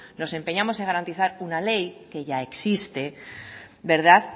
nos empeñamos en garantizar una ley que ya existe